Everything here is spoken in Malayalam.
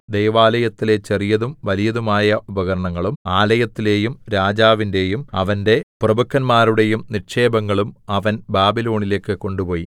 ദൈവാലയത്തിലെ ചെറിയതും വലിയതുമായ ഉപകരണങ്ങളും ആലയത്തിലെയും രാജാവിന്റെയും അവന്റെ പ്രഭുക്കന്മാരുടെയും നിക്ഷേപങ്ങളും അവൻ ബാബിലോണിലേക്ക് കൊണ്ടുപോയി